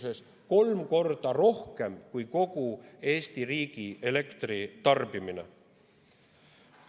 See on kolm korda rohkem kui kogu Eesti riigi elektritarbimine.